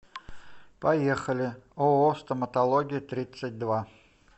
поехали ооо стоматология тридцать два